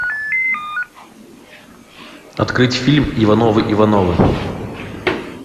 открыть фильм ивановы ивановы